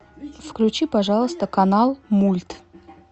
включи пожалуйста канал мульт